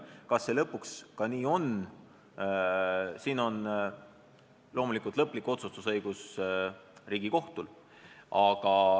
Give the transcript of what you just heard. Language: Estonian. Kas see ka nii on, siin on loomulikult lõplik otsustusõigus Riigikohtul.